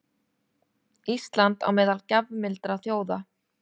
Ísland á meðal gjafmildra þjóða